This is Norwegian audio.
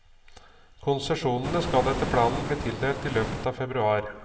Konsesjonene skal etter planen bli tildelt i løpet av februar.